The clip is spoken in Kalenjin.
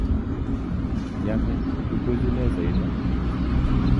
Yome tukuchu lesoini?